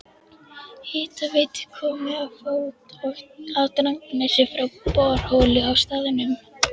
Hitaveitu komið á fót á Drangsnesi frá borholu á staðnum.